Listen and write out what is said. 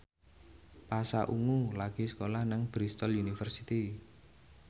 Pasha Ungu lagi sekolah nang Bristol university